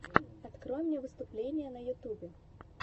открой мне выступления на ютубе